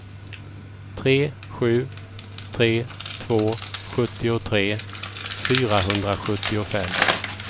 tre sju tre två sjuttiotre fyrahundrasjuttiofem